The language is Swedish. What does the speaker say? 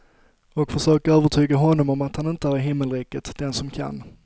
Och försök övertyga honom om att han inte är i himmelriket den som kan.